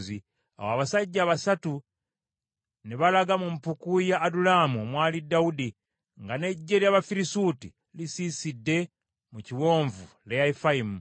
Awo abasajja basatu ne balaga mu mpuku ya Adulamu omwali Dawudi, nga n’eggye ly’Abafirisuuti lisiisidde mu kiwonvu Lefayimu.